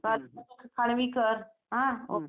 खांडवी कर हं ओके